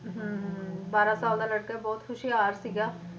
ਹਮ ਹਮ ਬਾਰਾਂ ਸਾਲ ਦਾ ਲੜਕਾ ਬਹੁਤ ਹੁਸ਼ਿਆਰ ਸੀਗਾ,